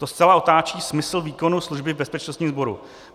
To zcela otáčí smysl výkonu služby v bezpečnostním sboru.